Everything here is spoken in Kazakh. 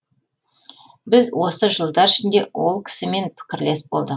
біз осы жылдар ішінде ол кісімен пікірлес болдық